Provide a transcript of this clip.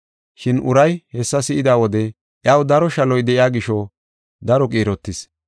Shin uray hessa si7ida wode iyaw daro shaloy de7iya gisho daro qiirotis.